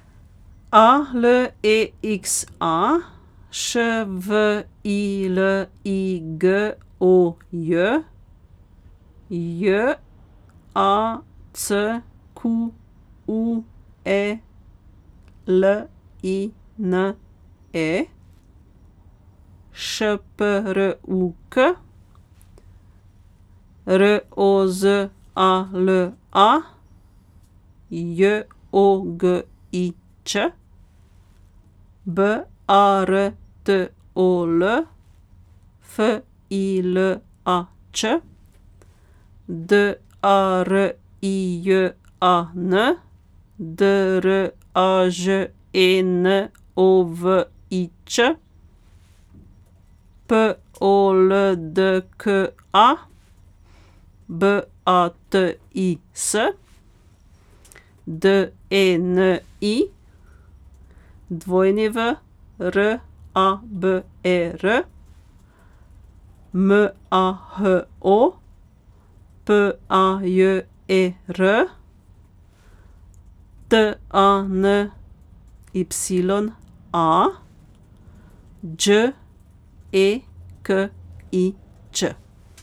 A L E X A, Š V I L I G O J; J A C Q U E L I N E, Š P R U K; R O Z A L A, J O G I Ć; B A R T O L, F I L A Č; D A R I J A N, D R A Ž E N O V I Ć; P O L D K A, B A T I S; D E N I, W R A B E R; M A H O, P A J E R; T A N Y A, Đ E K I Ć.